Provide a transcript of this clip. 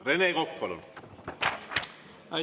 Rene Kokk, palun!